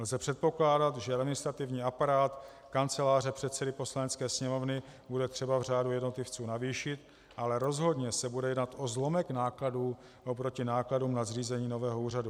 Lze předpokládat, že administrativní aparát Kanceláře předsedy Poslanecké sněmovny bude třeba v řádu jednotlivců navýšit, ale rozhodně se bude jednat o zlomek nákladů proti nákladům na zřízení nového úřadu.